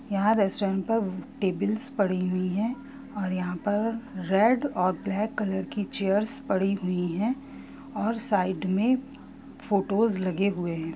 यह रेस्टोरेंट पर टेबल्स पड़ी हुई है और यहाँ पर रेड और ब्लैक कलर की चेयर्स पड़ी हुई है और साइड में फोटोस लगे हुए हैं ।